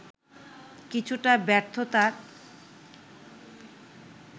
কিছুটা ব্যর্থতার